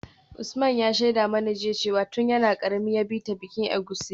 Usman ya shaida mana jiya cewa tun yana karami ya bi ta bikin egusi.